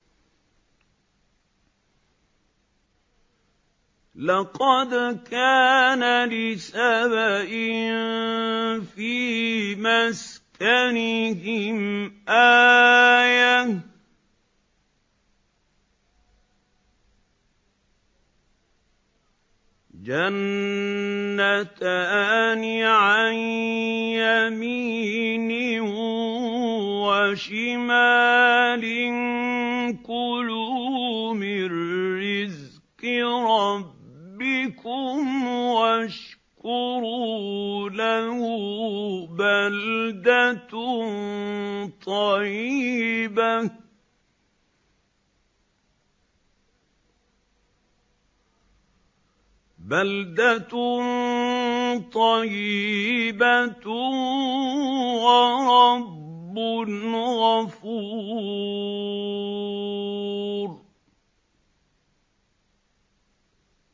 لَقَدْ كَانَ لِسَبَإٍ فِي مَسْكَنِهِمْ آيَةٌ ۖ جَنَّتَانِ عَن يَمِينٍ وَشِمَالٍ ۖ كُلُوا مِن رِّزْقِ رَبِّكُمْ وَاشْكُرُوا لَهُ ۚ بَلْدَةٌ طَيِّبَةٌ وَرَبٌّ غَفُورٌ